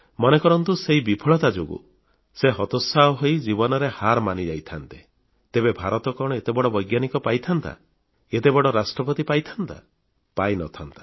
ମନେ କରନ୍ତୁ ସେହି ବିଫଳତା ଯୋଗୁଁ ସେ ହତୋତ୍ସାହ ହୋଇ ଜୀବନରେ ହାର ମାନିଯାଇଥାନ୍ତେ ତେବେ ଭାରତ କଣ ଏତେ ବଡ଼ ବୈଜ୍ଞାନିକ ପାଇଥାନ୍ତା ଏତେ ବଡ଼ ରାଷ୍ଟ୍ରପତି ପାଇଥାନ୍ତା ପାଇ ନଥାନ୍ତା